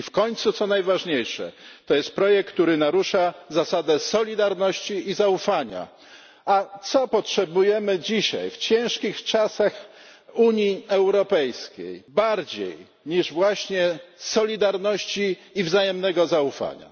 I w końcu, co najważniejsze, to jest projekt, który narusza zasadę solidarności i zaufania. A czego potrzebujemy dzisiaj w ciężkich czasach Unii Europejskiej bardziej niż właśnie solidarności i wzajemnego zaufania?